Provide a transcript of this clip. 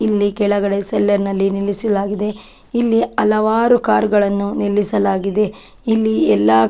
ಇಲ್ಲಿ ಕೆಳಗಡೆ ಸೆಲ್ಲರ್ ನಲ್ಲಿ ನಿಲ್ಲಿಸಲಾಗಿದೆ. ಇಲ್ಲಿ ಹಲವಾರು ಕಾರ್ ಗಳನ್ನು ನಿಲ್ಲಿಸಲಾಗಿದೆ. ಇಲ್ಲಿ ಎಲ್ಲ --